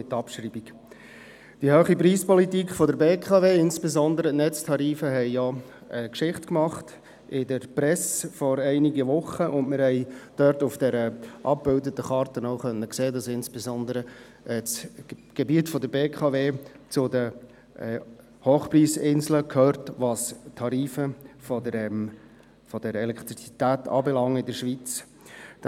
Die hohe Preispolitik der BKW, insbesondere betreffend die Netztarife, hat ja in der Presse vor einigen Wochen Geschichte gemacht, und wir haben auf der dort abgebildeten Karte auch sehen können, dass insbesondere das Gebiet der BKW zu den Hochpreisinseln gehört, was die Tarife der Elektrizität in der Schweiz anbelangt.